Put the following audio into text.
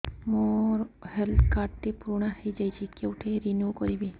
ମୋ health card ଟି ପୁରୁଣା ହେଇଯାଇଛି କେଉଁଠି ରିନିଉ କରିବି